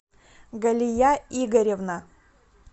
галия игоревна